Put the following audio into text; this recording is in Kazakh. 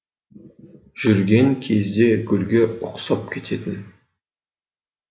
жүрген кезде гүлге ұқсап кететін